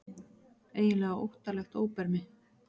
Eiginlega óttalegt óbermi.